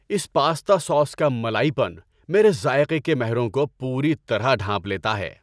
اس pasta sauce کا ملائی پن میرے ذائقے کے مہروں کو پوری طرح ڈھانپ لیتا ہے۔